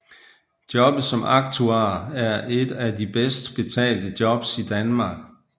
Jobbet som aktuar er et af de bedst betalte jobs i Danmark